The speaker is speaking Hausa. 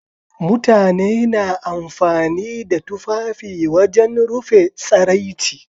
Mutane na amfani da tufafi wajen rufe tsaraici.